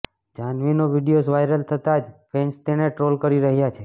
જાહ્નવીનો videos viral થતા જ fans તેણે ટ્રોલ કરી રહ્યા છે